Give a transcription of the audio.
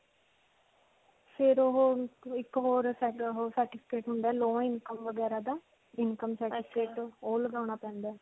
ਫਿਰ ਓਹੋ, ਇੱਕ ਹੋਰ ਓਹੋ certificate ਹੁੰਦਾ ਹੈ, low income ਵਗੈਰਾ ਦਾ income certificate, ਓਹ ਲਗਾਉਣਾ ਪੈਂਦਾ ਹੈ.